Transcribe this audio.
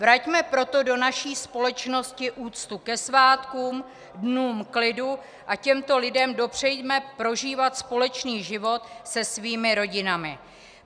Vraťme proto do naší společnosti úctu ke svátkům, dnům klidu a těmto lidem dopřejme prožívat společný život s jejich rodinami.